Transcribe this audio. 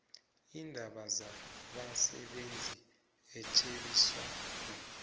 iindaba zabasebenzi itjhebiswano